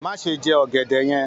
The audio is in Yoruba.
Má ṣe jẹ ọ̀gẹ̀dẹ̀ yẹn